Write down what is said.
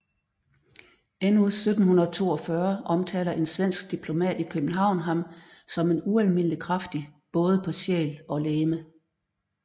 Endnu 1742 omtaler en svensk diplomat i København ham som ualmindelig kraftig både på sjæl og legeme